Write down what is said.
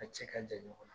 A cɛ ka jan ɲɔgɔn na